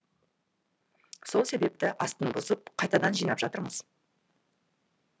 сол себепті астын бұзып қайтадан жинап жатырмыз